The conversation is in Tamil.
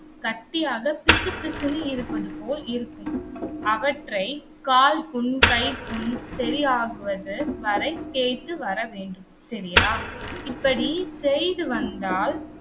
கட்டியாக பிசுபிசுன்னு இருப்பது போல் இருக்கும். அவற்றை கால் புண், கைப்புண் சரியாகுவது வரை தேய்த்து வர வேண்டும். சரியா? இப்படி செய்து வந்தால்